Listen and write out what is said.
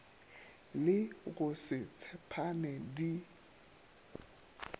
le go se tshepane di